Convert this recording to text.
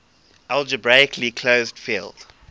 algebraically closed field